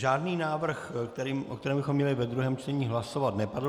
Žádný návrh, o kterém bychom měli ve druhém čtení hlasovat, nepadl.